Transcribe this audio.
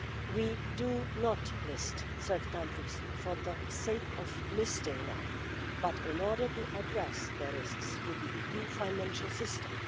We do not list third countries for the sake of listing them, but in order to address the risks to the EU financial system.